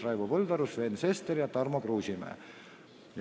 Väljavõte on õige.